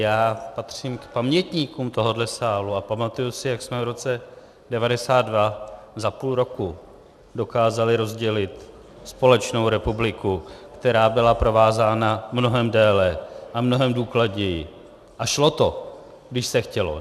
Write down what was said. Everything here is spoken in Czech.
Já patřím k pamětníkům tohohle sálu a pamatuji se, jak jsme v roce 1992 za půl roku dokázali rozdělit společnou republiku, která byla provázána mnohem déle a mnohem důkladněji a šlo to, když se chtělo.